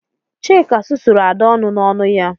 Chika susuru Ada ọnụ n'ọnu ya